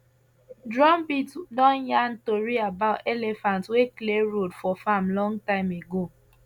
drumbeat don yarn tori about elephant wey clear road for farm long time ago